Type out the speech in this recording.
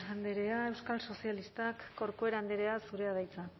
andrea euskal sozialistak corcuera andrea zurea da hitza